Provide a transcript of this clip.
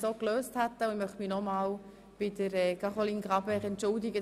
Ich möchte mich bei Anne-Caroline Graber nochmals für die Unannehmlichkeiten entschuldigen.